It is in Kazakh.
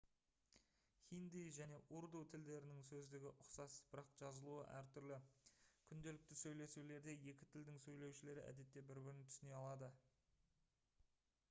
хинди және урду тілдерінің сөздігі ұқсас бірақ жазылуы әртүрлі күнделікті сөйлесулерде екі тілдің сөйлеушілері әдетте бір бірін түсіне алады